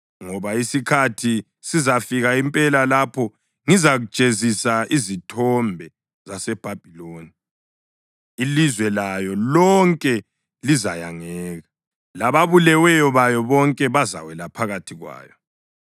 Ngoba isikhathi sizafika impela lapho ngizajezisa izithombe zaseBhabhiloni; ilizwe layo lonke lizayangeka lababuleweyo bayo bonke bazawela phakathi kwayo.